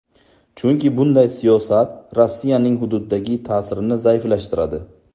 Chunki bunday siyosat Rossiyaning hududdagi ta’sirini zaiflashtiradi.